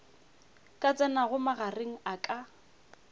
ka tsenago magareng a ka